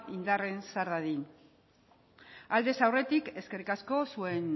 indarrean sar dadin aldez aurretik eskerrik asko zuen